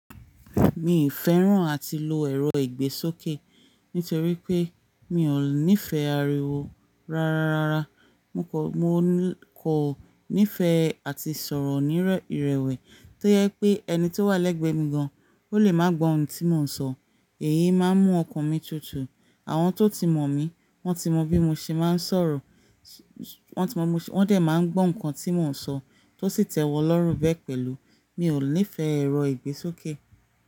Mi ì fẹ́ràn àti lo ẹ̀rọ ìgbésókè nítorí pé mi ò níí fẹ́ ariwo rárárára. Mo kọ, mo ní kò nífẹ̀ẹ́ àti sọ̀rọ̀ ní ìrẹ̀wẹ̀ẹ́ tó yẹ pé ẹni tó wà lẹ́gbẹ̀ẹ́ mi gan-an ò lè máa gbó ohun tí mò ń sọ. Èyí máa ń mú ọkàn mi tutù. Àwọn tó ti mọ̀ mí, wọ́n ti mọ bí mo ṣe máa ń sọ̀rọ̀, su su wọn ti mọ bi mo, wọ́n dẹ máa ń gbọ́ nǹkan tí mò ń sọ tó sì tẹ́wọ́n lọ́rùn bẹ́ẹ̀ pẹ̀lú. Mi ò níí fẹ́ ẹ̀rọ ìgbésókè.